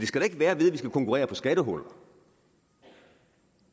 skal da ikke være ved at vi skal konkurrere på skattehuller